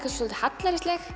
dálítið hallærisleg